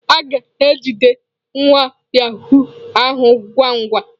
A ga-ejide nwa yahụụ ahụ ngwa ngwa.